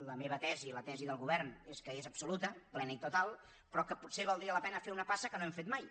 la meva tesi i la tesi del govern és que és absoluta plena i total però que potser valdria la pena fer una passa que no hem fet mai